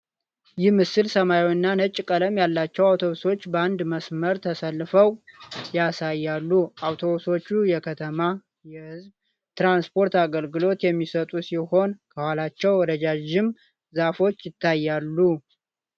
ይህ ምስል ሰማያዊና ነጭ ቀለም ያላቸው አውቶቡሶች በአንድ መስመር ተሰልፈው ያሳያል። አውቶቡሶቹ የከተማ የሕዝብ ትራንስፖርት አገልግሎት የሚሰጡ ሲሆኑ፥ ከኋላቸው ረዣዥም ዛፎች ይታያሉ።